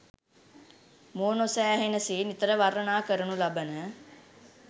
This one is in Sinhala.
මුවනොසෑහෙන සේ නිතර වර්ණනා කරනු ලබන